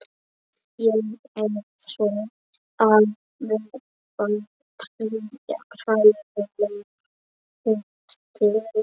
Ég er að verða hræðileg útlits.